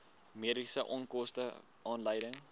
mediese onkoste aanleiding